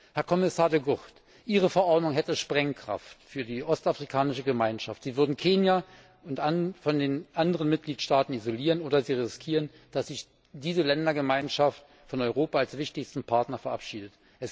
Herr Kommissar De Gucht, Ihre Verordnung hätte Sprengkraft für die Ostafrikanische Gemeinschaft. Sie würden Kenia von den anderen Mitgliedstaaten isolieren oder Sie riskieren, dass sich diese Ländergemeinschaft von Europa als wichtigstem Partner verabschiedet.